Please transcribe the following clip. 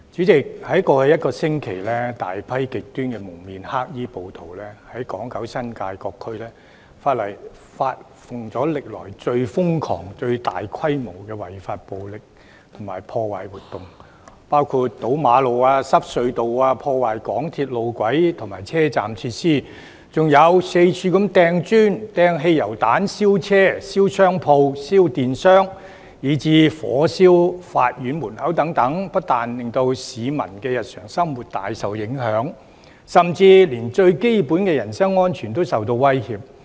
在過去一星期，有大批極端蒙面黑衣暴徒在港九新界各區發動歷來最瘋狂、最大規模的違法暴力及破壞活動，包括堵路、阻塞隧道、破壞港鐵路軌及車站設施，還四處投擲磚頭、擲汽油彈、燒車、燒商鋪、燒電箱，以至火燒法院門口等，不但令市民的日常生活大受影響，甚至連最基本的人身安全亦受威脅。